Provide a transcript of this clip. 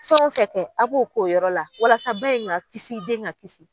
Fɛn wo fɛn kɛ a b'o k'o yɔrɔ la walasa ba in ka kisi den ka kisi.